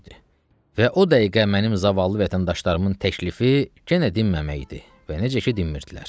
Və o dəqiqə mənim zavallı vətəndaşlarımın təklifi yenə dinməmək idi və necə ki, dinmirdilər.